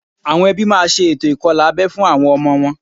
Àwọn ẹbí máa ṣe ètò ìkọlà abẹ́ fún àwọn ọmọ wọn